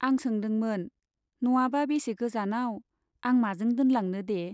आं सोंदोंमोन, न'आबा बेसे गोजानाव, आं माजों दोनलांनो दे ?